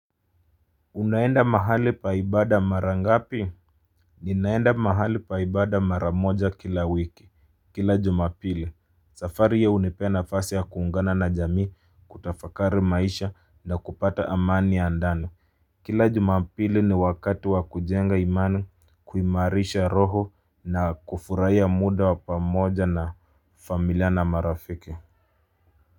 Unaenda mahali paa ibada mara ngapi. Ninaenda mahali paa ibada maramoja kila wiki kila jumapili. Safari hiyo hunipe nafasi ya kuungana na jamii kutafakari maisha na kupata amani ya ndani. Kila jumapili ni wakati wa kujenga imani kuimarisha roho na kufurahiya muda wa pamoja na familia na marafiki.